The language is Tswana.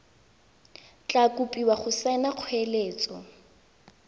tla kopiwa go saena kgoeletso